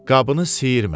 Qabını siyirmə.